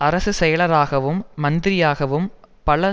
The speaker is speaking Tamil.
அரசு செயலராகவும் மந்திரியாகவும் பல